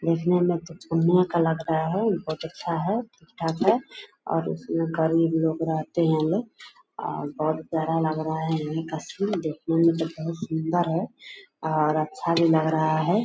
देखने में तो चूना का लग रहा है बहुत अच्छा है ठीक-ठाक है और उसमें गरीब लोग रहते है लोग और बहुत प्यारा लग रहा है यही का सीन देखने मे तो बहुत सुंदर है और अच्छा भी लग रहा है।